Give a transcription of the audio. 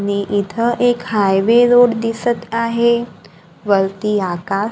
नी इथं एक हायवे रोड दिसत आहे वरती आका--